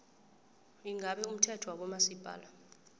ingabe umthetho wabomasipala